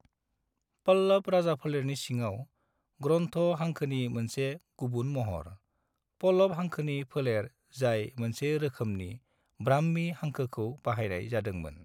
पल्लव राजाफोलेरनि सिङाव, ग्रन्थ' हांखोनि मोनसे गुबुन महर, पल्लव हांखोनि फोलेर जाय मोनसे रोखोमनि ब्राह्मी हांखोखौ बाहायनाय जादोंमोन।